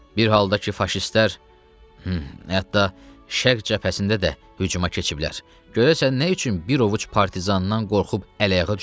Bir halda ki faşistlər hətta şərq cəbhəsində də hücuma keçiblər, görəsən nə üçün bir ovuc partizandan qorxub əl-ayağa düşüblər?